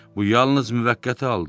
Bu yalnız müvəqqəti haldır.